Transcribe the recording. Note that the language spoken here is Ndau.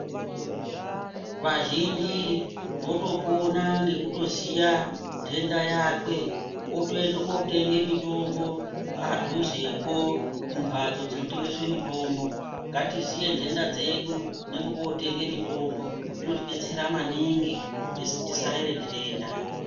Vazhinji votopona ngekutoziya ntenda yakwe otoende kootenge mutombo padhuzepo kumbatso dzinotengeswa mutombo, ngatiziye ntenda dzedu nepekootenge mutombo zvinotidetsera maningi kuti tisarere ntenda.